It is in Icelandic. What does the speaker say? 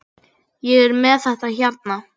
Ég er með þetta hérna.